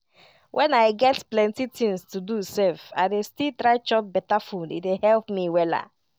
when i get plenty things to do sef i dey still try chop beta food e dey help me wella.